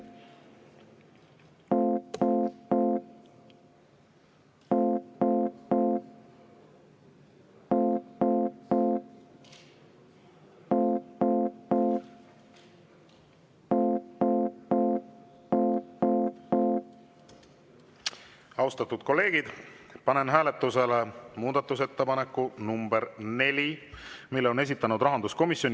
Austatud kolleegid, panen hääletusele muudatusettepaneku nr 4, mille on esitanud rahanduskomisjon.